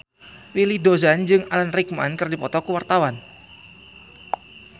Willy Dozan jeung Alan Rickman keur dipoto ku wartawan